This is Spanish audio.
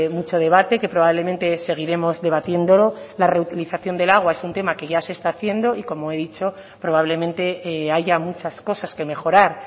mucho debate que probablemente seguiremos debatiéndolo la reutilización del agua es un tema que ya se está haciendo y como he dicho probablemente haya muchas cosas que mejorar